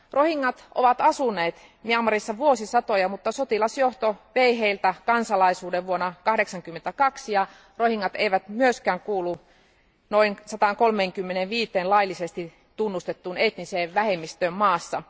Rohingyat ovat asuneet Myanmarissa vuosisatoja, mutta sotilasjohto vei heiltä kansalaisuuden vuonna 1982. Rohingyat eivät myöskään kuulu noin 135een laillisesti tunnustettuun etniseen vähemmistöön maassa.